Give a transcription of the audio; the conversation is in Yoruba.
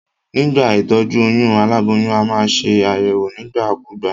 Nígbà ìtójú oyún, aláboyún a maa se àyèwò nígbà kúgbà